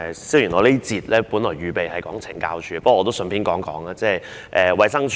雖然在這一節我準備就懲教署發言，但我也想順便談一談衞生署。